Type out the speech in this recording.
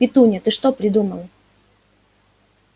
петунья ты что придумала